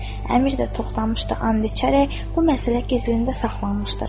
Əmir də Toxtamışda and içərək, bu məsələ gizlində saxlanmışdır.